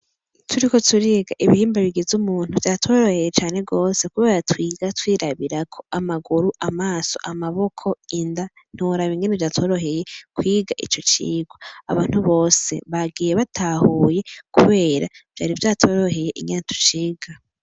Turiko turiga ibihimba bigize umuntu vyatworoheye cane gose kubera twiga twirabirako amaguru, amaso, amaboko, inda ntiworaba ingene vyatworoheye kwiga ico cigwa abantu bose bagiye batahuye kubera vyatworoheye ingene tuciga.